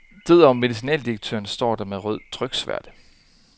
Død over medicinaldirektøren, står der med rød tryksværte.